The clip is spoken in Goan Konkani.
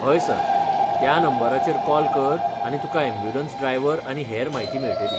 हय सर, त्या नंबराचेर कॉल कर आनी तुका यॅम्ब्युलंस ड्रायवर आनी हेर म्हायती मेळटली.